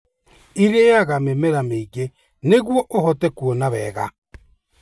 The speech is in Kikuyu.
Iriaga mĩmera mĩingĩ nĩguo ũhote kuona wega.